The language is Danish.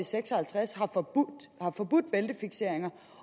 seks og halvtreds har forbudt bæltefikseringer